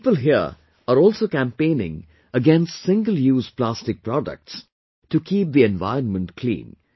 People here are also campaigning against Single Use Plastic products to keep the environment clean